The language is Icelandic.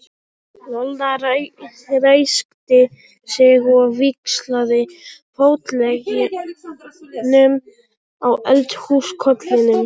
Lolla ræskti sig og víxlaði fótleggjunum á eldhúskollinum.